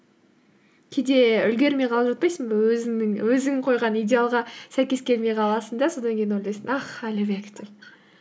кейде үлгермей қалып жатпайсың ба өзің қойған идеалға сәйкес келмей қаласың да содан кейін ойлайсың ах әлібек деп